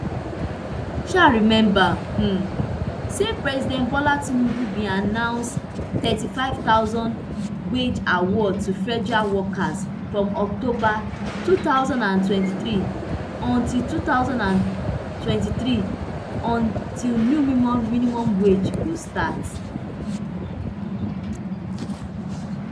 um remember um say president bola tinubu bin announce a nthirty-five thousand wage award to federal workers from october two thousand and twenty-three until two thousand and twenty-three until new minimum wage go start